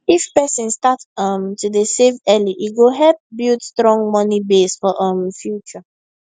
if person start um to dey save early e go help build strong money base for um future